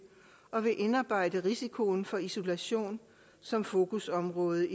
og vil indarbejde risikoen for isolation som fokusområde